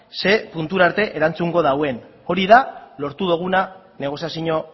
ze puntu arte erantzungo duen hori da lortu duguna negoziazio